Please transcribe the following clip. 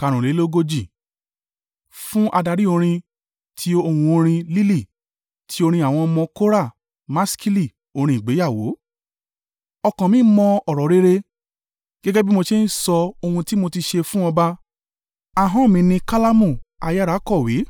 Fún adarí orin. Tí ohun orin “Lílì.” Ti orin àwọn ọmọ Kora. Maskili. Orin ìgbéyàwó. Ọkàn mi mọ ọ̀rọ̀ rere gẹ́gẹ́ bí mo ṣe ń sọ ohun tí mo ti ṣe fún ọba ahọ́n mi ni kálámù ayára kọ̀wé.